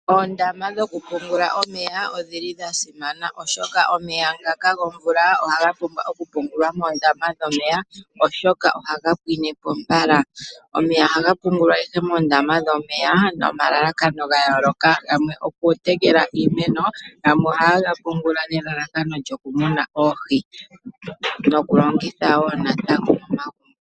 Oondama dhoku pungula omeya odhili dhasimana oshoka omeya ngaka gomvula ohaga pumbwa okuungulwa moondama dhomeya oshoka ohaga pwine po mbala. Omeya ohaga pungulwa ihe moondama dhomeya nomalalakano gayooloka, gamwe okutekela iimeno, yamwe ohaye ga pungula nelalakano lyokumuna oohi, nokulongitha woo natango momagumbo.